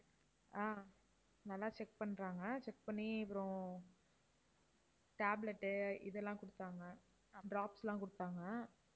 ஆஹ் நல்லா check பண்றாங்க. check பண்ணி அப்புறம் tablet உ இதெல்லாம் கொடுத்தாங்க, drops எல்லாம் கொடுத்தாங்க.